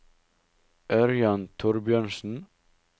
Ørjan Thorbjørnsen